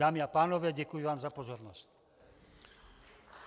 Dámy a pánové, děkuji vám za pozornost.